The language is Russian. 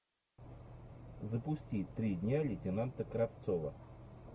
запусти три дня лейтенанта кравцова